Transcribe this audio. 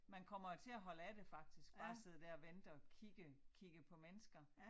Man kommer jo til at holde af det faktisk bare sidde dér og vente og kigge kigge på mennesker